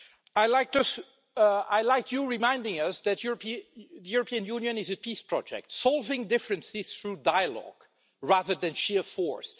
I liked you reminding us that the European Union is a peace project solving differences through dialogue rather than sheer force.